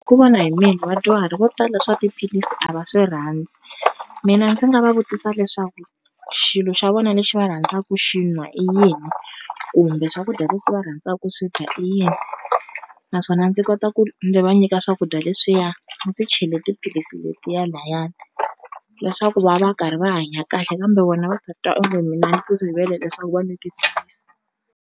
Ku vona hi mina vadyuhari vo tala swa tiphilisi a va swi rhandzi, mina ndzi nga va vutisa leswaku xilo xa vona lexi va rhandzaku xi n'wa i yini, kumbe swakudya leswi va rhandzaka ku swi dya i yini naswona ndzi kota ku ndzi va nyika swakudya leswiya ndzi chele tiphilisi letiya layani leswaku va va karhi va hanya kahle kambe vona va titwa onge mina ndzi rivele leswaku va nwa tiphilisi.